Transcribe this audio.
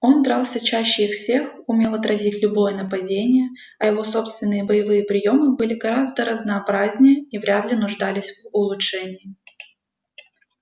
он дрался чаще их всех умел отразить любое нападение а его собственные боевые приёмы были гораздо разнообразнее и вряд ли нуждались в улучшении